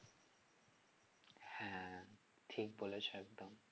হ্যাঁ ঠিক বলেছো একদম